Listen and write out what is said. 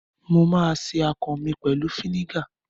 Mà á se akàn mi pẹ̀lú fínígà.